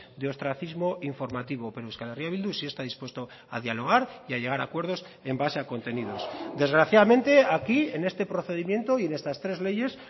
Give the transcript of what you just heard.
de ostracismo informativo pero euskal herria bildu sí está dispuesto a dialogar y a llegar a acuerdos en base a contenidos desgraciadamente aquí en este procedimiento y en estas tres leyes